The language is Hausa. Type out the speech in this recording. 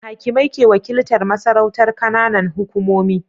Hakimai ke wakiltar masarautar Kananan hukumomi